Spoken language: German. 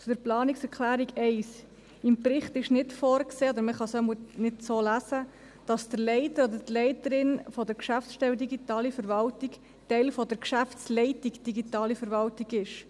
Zur Planungserklärung 1: Im Bericht ist nicht vorgesehen, oder man kann es jedenfalls nicht so lesen, dass der Leiter oder die Leiterin der Geschäftsstelle Digitale Verwaltung Teil der Geschäftsleitung Digitale Verwaltung ist.